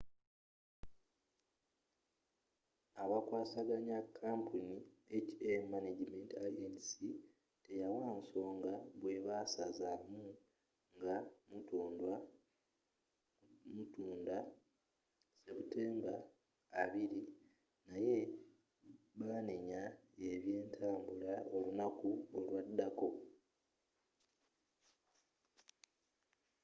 abakwasaganya kampuni hk management inc. teyawa nsonga bwebaasazaamu nga mutunda sebutemba 20 naye baanenya ebyentambula olunaku olwaddako